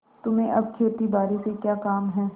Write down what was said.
तुम्हें अब खेतीबारी से क्या काम है